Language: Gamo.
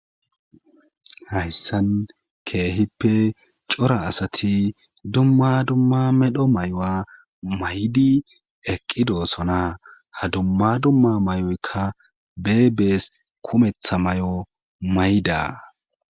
hayssan keehippe cora asati dumma dumma medho may'ao'aa maydi eqqidoosona ha dumma dumma may'aoykka beebees kumetha may'ao mayda